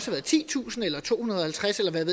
været titusind eller to hundrede og halvtreds eller hvad